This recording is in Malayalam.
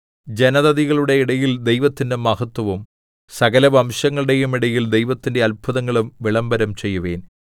ജനതതികളുടെ ഇടയിൽ ദൈവത്തിന്റെ മഹത്വവും സകലവംശങ്ങളുടെയും ഇടയിൽ ദൈവത്തിന്റെ അത്ഭുതങ്ങളും വിളംബരം ചെയ്യുവിൻ